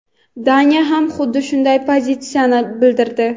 Daniya ham xuddi shunday pozitsiyani bildirdi.